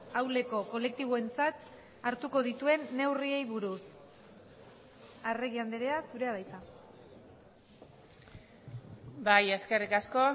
ahuleko kolektiboentzat hartuko dituen neurriei buruz arregi andrea zurea da hitza bai eskerrik asko